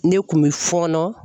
Ne kun bɛ fɔɔnɔ